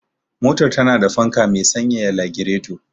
Motar tana da fanka me sanyaya lagireto.